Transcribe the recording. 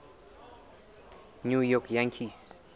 new york yankees